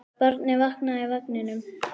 Barnið vaknaði í vagninum.